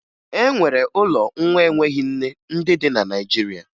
E nwere ụlọ nwa enweghi nne ndị dị na Naịjirịa